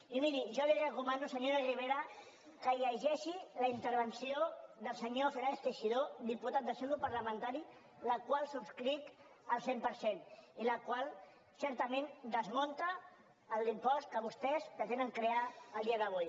i miri jo li recomano senyora ribera que llegeixi la intervenció del senyor fernàndez teixidó diputat del seu grup parlamentari la qual subscric al cent per cent i la qual certament desmunta l’impost que vostès pretenen crear el dia d’avui